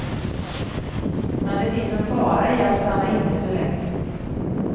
Men det finns en fara i att stanna inne för länge.